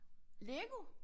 Lego?